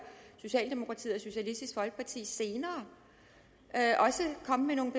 socialdemokratiet og socialistisk folkeparti senere også komme med nogle